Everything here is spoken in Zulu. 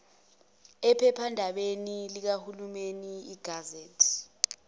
ephephandabeni likahulumeni igazette